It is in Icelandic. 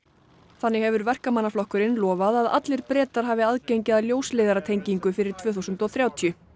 þannig hefur Verkamannaflokkurinn nú lofað að allir Bretar hafi aðgengi að ljósleiðaratengingu fyrir tvö þúsund og þrjátíu